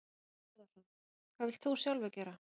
Þorbjörn Þórðarson: Hvað vilt þú sjálfur gera?